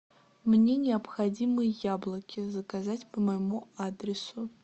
мне необходимы яблоки заказать по моему адресу